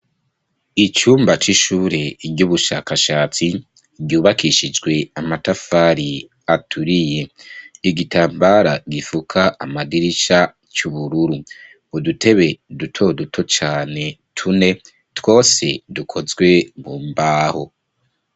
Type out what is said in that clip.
Icumba c'ishure ry'ubushakashatsi ryubakishijwe amatafari aturiye igitambara gifuka amadirisha c'ubururu budutebe dutoduto cane tune twose dukozwe mu mbaho.